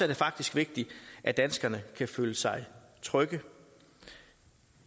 det faktisk vigtigt at danskerne kan føle sig trygge